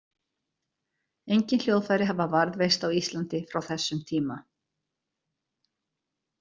Engin hljóðfæri hafa varðveist á Íslandi frá þessum tíma.